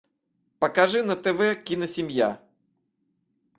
покажи на тв киносемья